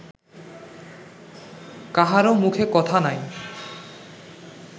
কাহারও মুখে কথা নাই